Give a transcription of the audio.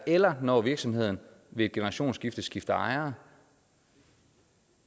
eller når virksomheden ved et generationsskifte skifter ejere